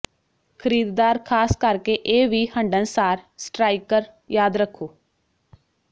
ਖਰੀਦਦਾਰ ਖਾਸ ਕਰਕੇ ਇਹ ਵੀ ਹੰਢਣਸਾਰ ਸਟਰਾਈਕਰ ਯਾਦ ਰੱਖੋ